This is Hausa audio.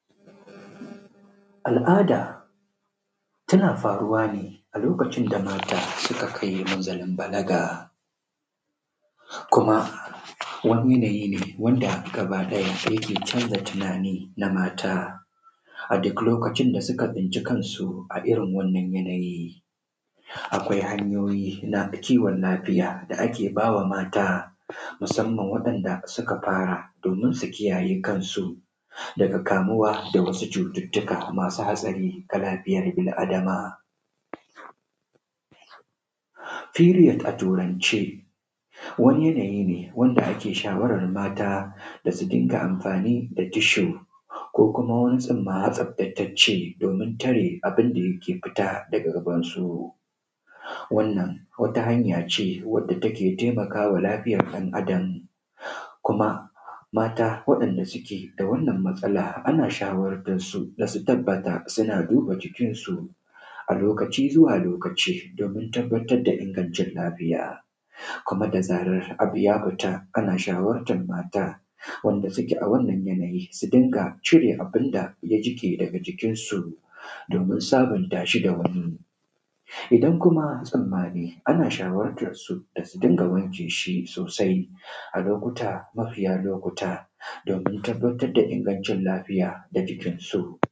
Al’ada tana faruwa ne a lokacin da mata suka kai minzalin balaga, kuma wannan yanayi ne wanda aka bada yake canza tunani na mata a duk lokacin da suka tsinci kansu. A irin wannan yanayin, akwai hanayoyin na kiwon lafiya da ake ba wa mata, musamman ga wa’yanda suka fara, domin su kiyaye kannsu daga kamuwa da wasu cututtuka masu hatsari ga bil adama, firiyod a turance, wannan yanyi ne wanda ake shawarar mata da su dinga amfani da tishu ko kuma wannan tsima tsaftatacce, domin tare abun da yake fita da gaban su. Wannan wata hanaya ce da take taimakawa lafiyar ɗan adama, kuma mata waɗanda suke da wannan matsala ana shawartarsu da su tabbata suna duba jikin su a lokaci zuwa lokaci domin tabbatar da inganci lafiya game da abi da ya fita. Ana shawartar mata wanda suka a wannan yanayin su dinga cire abun da ya jiƙe dara jikinsu domin sabunta shi da wannan idan kuma tsammani, ana shawartan su da su dinga wanke shi sosai a lokuta mafiya lokuta domin tabbatar da ingancin lafiya da jikinsu.